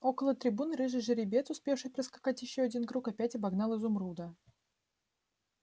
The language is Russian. около трибуны рыжий жеребец успевший проскакать ещё один круг опять обогнал изумруда